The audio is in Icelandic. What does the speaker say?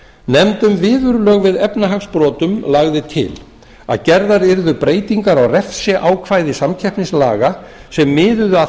nefnd um viðurlög við efnahagsbrotum lagði til að gerðar yrðu breytingar á refsiákvæðum samkeppnislaga sem miðuðu að